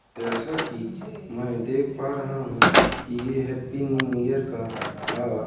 जैसा की मैं देख पा रहा हूं की ये हैप्पी न्यू ईयर का अ--